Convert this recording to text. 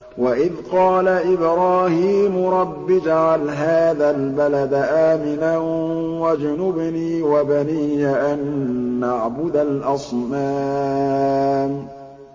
وَإِذْ قَالَ إِبْرَاهِيمُ رَبِّ اجْعَلْ هَٰذَا الْبَلَدَ آمِنًا وَاجْنُبْنِي وَبَنِيَّ أَن نَّعْبُدَ الْأَصْنَامَ